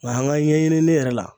Nga an a ɲɛɲinini yɛrɛ la